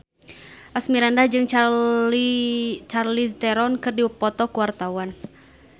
Asmirandah jeung Charlize Theron keur dipoto ku wartawan